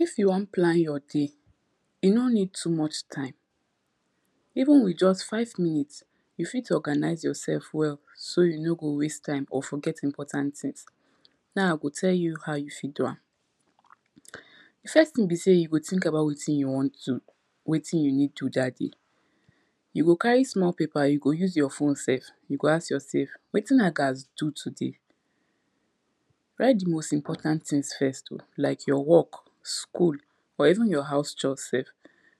if you won plan your day, you no need too much time even with just five minutes, you fit organize yourself well so you no go waste time or forget important tins. now i go tell you how you fit do am. di first tin be sey you go think about wetin you won do wetin you need do dat dey you go carry small paper you go use your phone self you go ask yourself wetin i gats do today write di most important tins first oh like your work, school or even your haus chores self.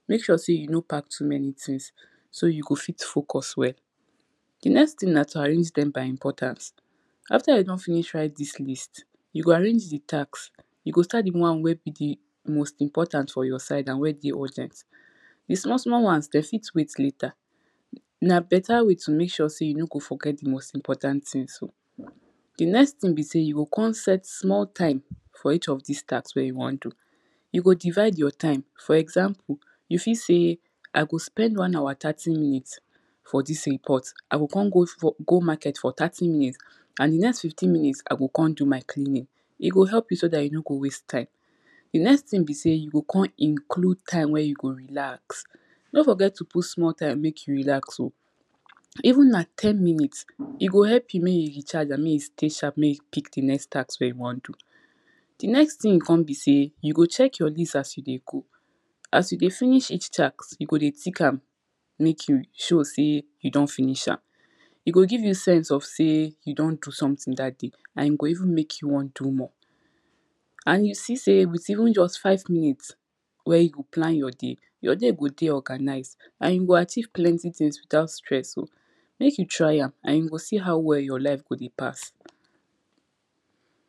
make sure sey you no pack too many tins so you go fit focus well. di next tin na to arrange dem by importance, after you don finish write dis list, you go arrange di tasks, you go start di won wey be di most important for yourside and wen dey urgent. di small small ones, den fit wait later, na beta way to make sure sey you no go forget di most impoant tins oh. di next tin be sey you go kon set small time for each of this task wey you won do you go divide your time for example you fit say, I go spend one hour thirty minutes for dis in pot i go kon go market for thirty minutes, and di next fifteen minutes, i go kon do my cleaning. e go help you so dat you no go waste time di next tin e say you go kon include time wen you go relax, no forget to include time wen you go relax oh even na ten minutes, e go help you make you recharge and make you stay sharp and make you pick di next task wey you won do. di next tin kon be sey, you go check your list as you dey go, as you dey finish each task, you go dey thick am. make you show say you don finish am, e go give you sense of say you don do sometin dat day and you go even wan do more. and you see sey with even just five minutes wen you plan your day, your day go dey organized. and you go achieve plenty tins without stress oh make you try am and you go see how well your life go dey pass.